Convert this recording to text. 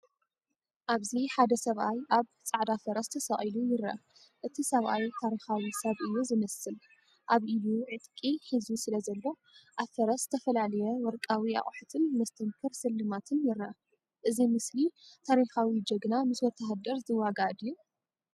ኣብዚ ሓደ ሰብኣይ ኣብ ጻዕዳ ፈረስ ተሰቂሉ ይርአ። እቲ ሰብኣይ ታሪኻዊ ሰብ እዩ ዝመስል። ኣብ ኢዱ ዕጥቂ ሒዙ ስለዘሎ፡ ኣብ ፈረስ ዝተፈላለየ ወርቃዊ ኣቑሑትን መስተንክር ስልማትን ይረአ። እዚ ምስሊ ታሪኻዊ ጅግና ምስ ወተሃደር ዝዋጋእ ድዩ?